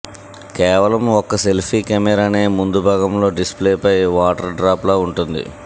కేవలం ఒక్క సెల్ఫీ కెమెరానే ముందు భాగంలో డిస్ప్లేపై వాటర్ డ్రాప్లా ఉంటుంది